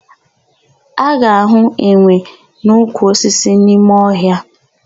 A ga-ahụ enwe n'ukwu osisi n'ime ọhịa.